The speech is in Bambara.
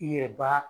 I yɛrɛ b'a